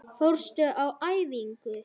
Fórstu á æfingu?